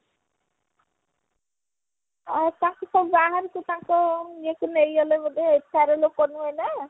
ହଁ ତାଙ୍କୁ ତ ନେଇଗଲେ ବୋଧେ ନୁହଁ ନା